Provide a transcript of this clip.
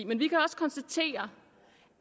men vi kan også konstatere